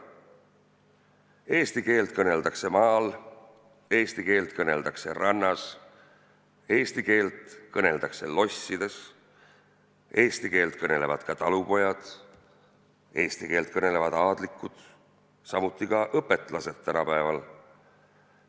Eesti keelt kõneldakse maal, eesti keelt kõneldakse rannas, eesti keelt kõneldakse lossides, eesti keelt kõnelevad talupojad, eesti keelt kõnelevad aadlikud; samuti ka õpetlased tänapäeval.